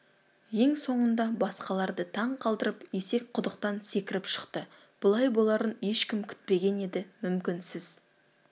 ең соңында басқаларды таң қалдырып есек құдықтан секіріп шықты бұлай боларын ешкім күтпеген еді мүмкін сіз